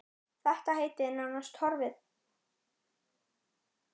Þetta heiti er nánast horfið.